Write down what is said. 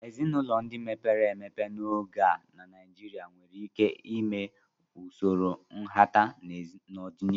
Ezinụlọ ndị mepere emepe n'oge a na Naijiria nwere ike ịme usoro nhata n'ọdịnihu.